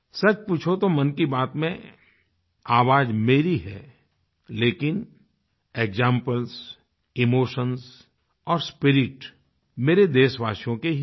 सच पूछो तो मन की बात में आवाज़ मेरी है लेकिन एक्जाम्पल्स इमोशंस और स्पिरिट मेरे देशवासियों के ही हैं